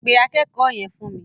Pe akẹ́kọ̀ọ́ yẹn fún mi.